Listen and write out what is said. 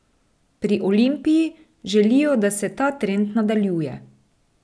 Pri Olimpiji želijo, da se ta trend nadaljuje.